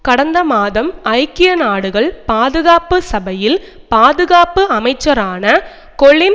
கடந்த மாதம் ஐக்கிய நாடுகள் பாதுகாப்பு சபையில் பாதுகாப்பு அமைச்சரான கொலின்